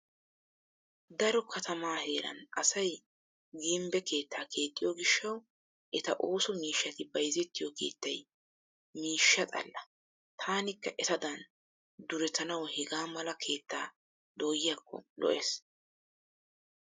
Daro katama heeran asay gimbbe keettaa keexxiyo gishshawu eta ooso miishati bayzettiyo keettay miishsha xalla. Taanikka etadan duretanawu hegaa mala keettaa doyiyakko lo'ees.